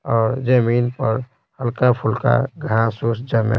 और जमीन पर हल्का-फुल्का घंसूस जमे--